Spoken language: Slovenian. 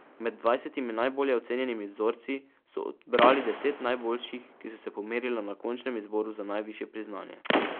Med dvajsetimi najbolje ocenjenimi vzorci so odbrali deset najboljših, ki so se pomerila na končnem izboru za najvišje priznanje.